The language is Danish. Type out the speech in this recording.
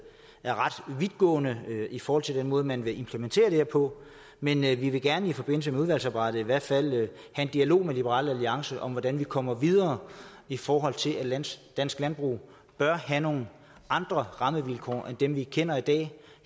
er ret vidtgående i forhold til den måde man vil implementere det her på men vi vil gerne i forbindelse med udvalgsarbejdet i hvert fald have en dialog med liberal alliance om hvordan vi kommer videre i forhold til at dansk landbrug bør have nogle andre rammevilkår end dem vi kender i dag